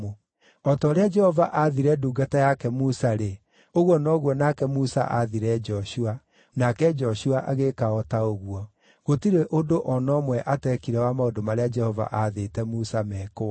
O ta ũrĩa Jehova aathire ndungata yake Musa-rĩ, ũguo noguo nake Musa aathire Joshua; nake Joshua agĩĩka o ta ũguo; gũtirĩ ũndũ o na ũmwe ateekire wa maũndũ marĩa Jehova aathĩte Musa mekwo.